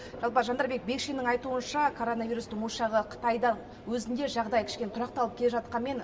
жалпы жандарбек бекшиннің айтуынша коронавирустың ошағы қытайда өзінде жағдай кішкене тұрақталып келе жатқанымен